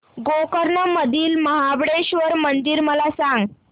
गोकर्ण मधील महाबलेश्वर मंदिर मला सांग